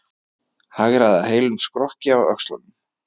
Hagræða heilum skrokki á öxlunum.